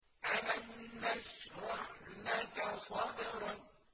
أَلَمْ نَشْرَحْ لَكَ صَدْرَكَ